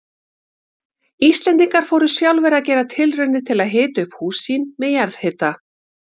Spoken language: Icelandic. Íslendingar fóru sjálfir að gera tilraunir til að hita upp hús sín með jarðhita.